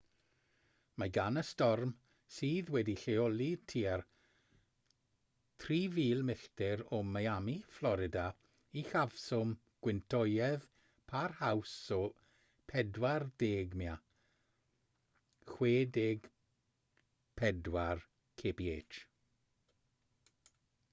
mae gan y storm sydd wedi'i lleoli tua 3,000 milltir o miami fflorida uchafswm gwyntoedd parhaus o 40 mya 64 kph